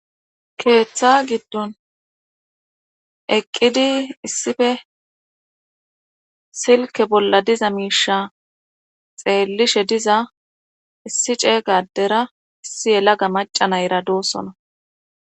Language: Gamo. keeththa giddon eqqidi issife silke bolla diza miisha xeellishe diza issi ceega adera issi yelaga maca nayera doosona.